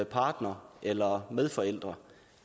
partnere eller medforældre